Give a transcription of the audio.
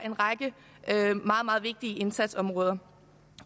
en række meget meget vigtige indsatsområder